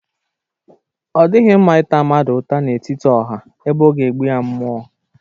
O dighi mma ita mmadu uta n'etiti oha ebe o ga-egbu ya mmuo